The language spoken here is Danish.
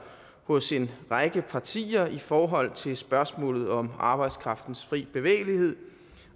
hos en række partier i forhold til spørgsmålet om arbejdskraftens fri bevægelighed